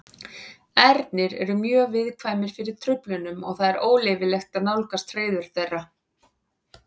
Ernir eru mjög viðkvæmir fyrir truflunum og það er óleyfilegt að nálgast hreiður þeirra.